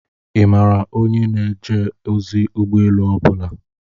Ị maara ndị na-eje ozi ụgbọ elu ọ bụla?